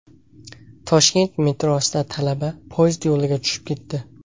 Toshkent metrosida talaba poyezd yo‘liga tushib ketdi.